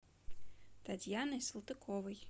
татьяной салтыковой